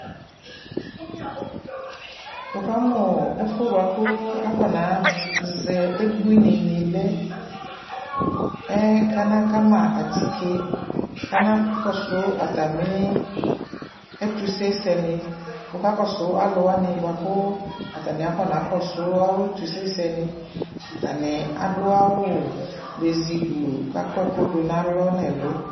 Wʋ ka mʋ ɔɔ ɛfʋ yɛ bua kʋ afɔnazɛ ebuinini lɛ Mr kana kama atike, k'anskɔsʋ atamɩ ɛtuse sɛnɩ Wʋ ka kɔsʋ alʋwanɩ bʋa kʋʋ atanɩ afɔna kɔsʋ awʋ ɛtʋse sɛnɩ, atanɩ adʋ awʋ bezi gbluu k'akɔ ɛkʋ dʋ n'alɔ, n'ɛlʋ